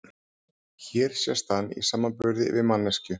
Hér sést hann í samanburði við manneskju.